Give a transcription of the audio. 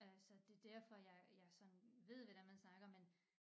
Øh så det derfor jeg jeg sådan ved hvordan man snakker men